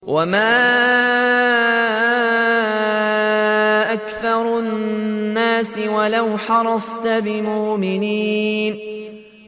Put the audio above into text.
وَمَا أَكْثَرُ النَّاسِ وَلَوْ حَرَصْتَ بِمُؤْمِنِينَ